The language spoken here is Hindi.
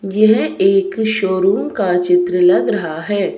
येहे एक शोरूम का चित्र लग रहा है।